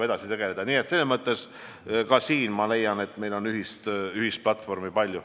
Nii et ma leian, et meil on ühist platvormi palju.